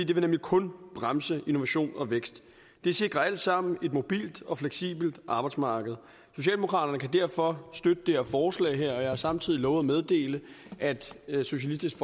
det vil nemlig kun bremse innovation og vækst det sikrer alt sammen et mobilt og fleksibelt arbejdsmarked socialdemokraterne kan derfor støtte det her forslag og jeg har samtidig lovet at meddele at socialistisk